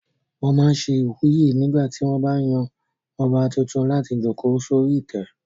Wọ́n máa n ṣe ìwúyè nígbà tí wọ́n bá yan ọba tuntun láti jòkó sórí ìtẹ́